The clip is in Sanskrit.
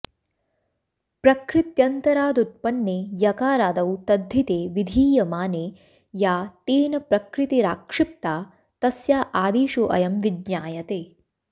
प्रकृत्यन्तरादुत्पन्ने यकारादौ तद्धिते विधीयमाने या तेन प्रकृतिराक्षिप्ता तस्या आदेशोऽयं विज्ञायते